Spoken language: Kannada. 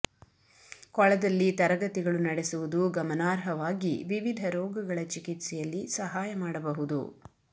ಕೊಳದಲ್ಲಿ ತರಗತಿಗಳು ನಡೆಸುವುದು ಗಮನಾರ್ಹವಾಗಿ ವಿವಿಧ ರೋಗಗಳ ಚಿಕಿತ್ಸೆಯಲ್ಲಿ ಸಹಾಯ ಮಾಡಬಹುದು